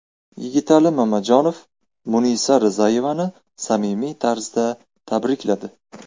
Yigitali Mamajonov Munisa Rizayevani samimiy tarzda tabrikladi.